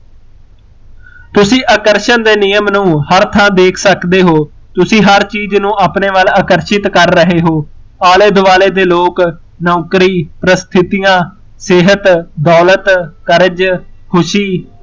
ਤੁਸੀਂ ਆਕਰਸ਼ਣ ਦੇ ਨਿਯਮ ਨੂੰ ਹਰ ਥਾ ਦੇਖ ਸਕਦੇ ਹੋ, ਤੁਸੀਂ ਹਰ ਚੀਜ਼ ਨੂੰ ਆਪਣੇ ਵੱਲ ਆਕਰਸ਼ਿਤ ਕਰ ਰਹੇ ਹੋ, ਆਲੇ ਦੁਆਲੇ ਦੇ ਲੋਕ, ਨੋਕਰੀ, ਪਰਸਥਿਤੀਆ, ਸੇਹਤ, ਦੋਲਤ, ਖੁਸ਼ੀ